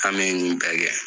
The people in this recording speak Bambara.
An be nunnu bɛɛ kɛ.